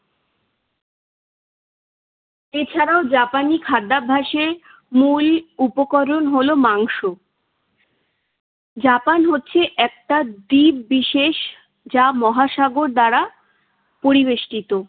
এছাড়াও জাপানি খাদ্যাভ্যাসের মূল উপকরণ হলো মাংস। জাপান হচ্ছে একটা দ্বীপ বিশেষ, যা মহাসাগর দ্বারা পরিবেষ্টিত।